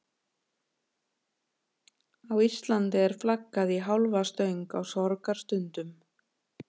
Á Íslandi er flaggað í hálfa stöng á sorgarstundum.